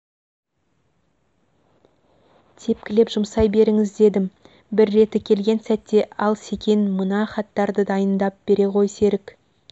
тепкілеп жұмсай беріңіз дедім бір реті келген сәтте ал секен мына хаттарды дайындап бере ғой серік